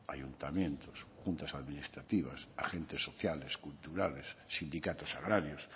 ayuntamientos juntas administrativas agentes sociales culturales sindicatos agrarios